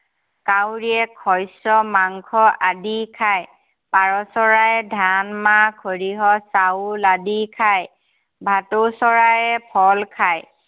কাউৰীয়ে শস্য়, মাংস আদি খায়। পাৰ চৰায়ে ধান, মাহ, সৰিয়হ, চাউল আদি খায়। ভাটৌ চৰায়ে ফল খায়।